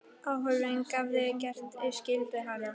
Áhöfnin hafði gert skyldu sína.